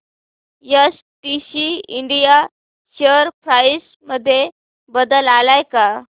STC India share price मध्ये बदल आलाय का